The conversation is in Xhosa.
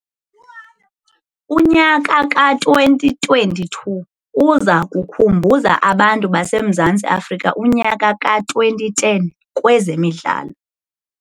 Unyaka ka-2022 uza kukhumbuza abantu baseMzantsi Afrika unyaka ka-2010 kwezemidlalo.